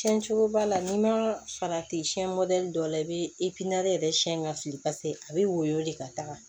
Cɛn cogo b'a la n'i ma farati siyɛn dɔ la i bɛ yɛrɛ siyɛn ka siri a bɛ woyɔ de ka taga